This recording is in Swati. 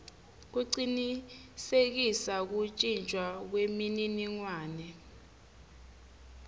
kucinisekisa kuntjintjwa kwemininingwane